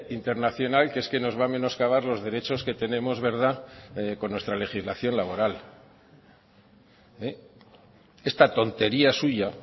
internacional que es que nos va a menoscabar los derechos que tenemos verdad con nuestra legislación laboral esta tontería suya